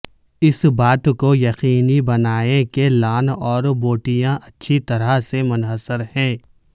اس بات کو یقینی بنائیں کہ لان اور بوٹیاں اچھی طرح سے منحصر ہیں